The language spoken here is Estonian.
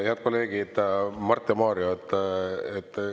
Head kolleegid Mart ja Mario!